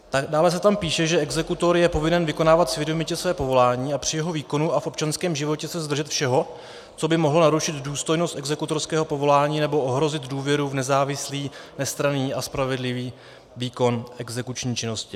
Dále se tam píše, že exekutor je povinen vykonávat svědomitě své povolání a při jeho výkonu a v občanském životě se zdržet všeho, co by mohlo narušit důstojnost exekutorského povolání nebo ohrozit důvěru v nezávislý, nestranný a spravedlivý výkon exekuční činnosti.